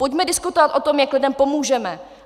Pojďme diskutovat o tom, jak lidem pomůžeme.